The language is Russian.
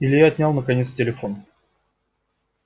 илья отнял наконец телефон